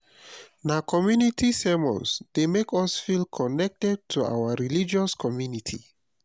na community sermons dey make us feel connected to our religious community